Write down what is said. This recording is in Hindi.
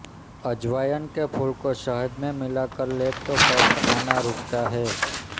अजवायन के फूल को शहद में मिलाकर ले तो कफ आना रुकता है